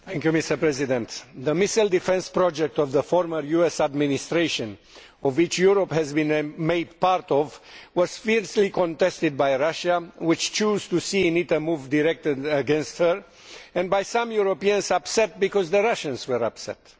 Mr President, the missile defence project of the former US Administration, of which Europe has been made part, was fiercely contested by Russia, which chose to see in it a move directed against it, and by some Europeans who were upset because the Russians were upset.